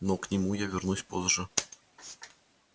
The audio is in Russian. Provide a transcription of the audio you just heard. но к нему я вернусь позже